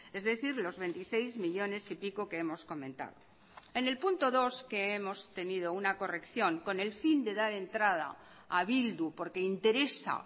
es decir los veintiséis millónes y pico que hemos comentado en el punto dos que hemos tenido una corrección con el fin de dar entrada a bildu porque interesa